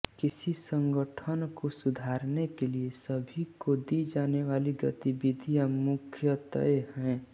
किसी संगठन को सुधारने के लिए सभी को दी जाने वाली गतिविधियाँ मुख्यतये हैं